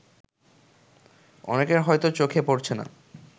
অনেকের হয়তো চোখে পড়ছে না